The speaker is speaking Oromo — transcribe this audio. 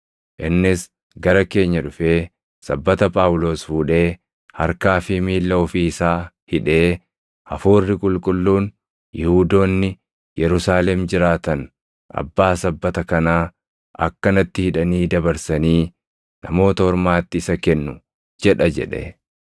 Innis gara keenya dhufee sabbata Phaawulos fuudhee harkaa fi miilla ofii isaa hidhee, “Hafuurri Qulqulluun, ‘Yihuudoonni Yerusaalem jiraatan abbaa sabbata kanaa akkanatti hidhanii dabarsanii Namoota Ormaatti isa kennu’ jedha” jedhe.